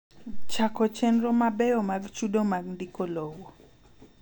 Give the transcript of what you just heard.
Chako chenro mabeyo mag chudo mag ndiko lowo.